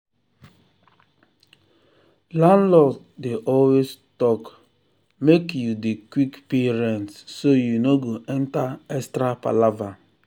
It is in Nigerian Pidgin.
landlord dey always talk make you dey quick pay rent so you no go enter extra palava.